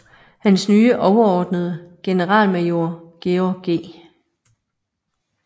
Hans nye overordnede generalmajor George G